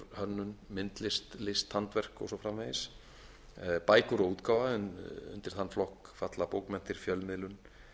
hönnun myndlist handverk og svo framvegis bækur og útgáfa en undir þann flokk falla bókmenntir fjölmiðlun